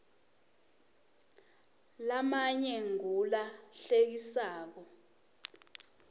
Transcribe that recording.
lamanye ngula hlekisako